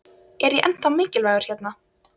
Er ég ennþá mikilvægur hérna?